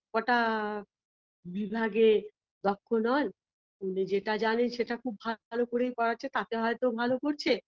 গোটা বিভাগে দক্ষ নয় যেটা জানে সেটা খুব ভালো করেই করাচ্ছে তাতে হয়তো ভালো করছে